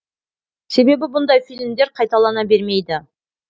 себебі бұндай фильмдер қайталана бермейді